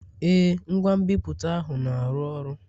Ee, ngwa nbipute ahụ na-arụ ọrụ.